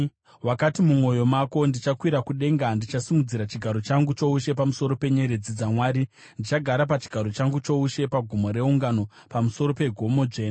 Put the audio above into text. Wakati mumwoyo mako, “Ndichakwira kudenga; ndichasimudzira chigaro changu choushe pamusoro penyeredzi dzaMwari; ndichagara pachigaro changu choushe pagomo reungano, pamusoro pegomo dzvene.